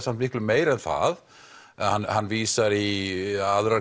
miklu meira en það hann vísar í aðrar